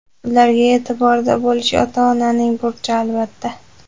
ularga e’tiborda bo‘lish ota-onaning burchi, albatta.